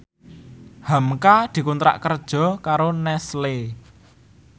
hamka dikontrak kerja karo Nestle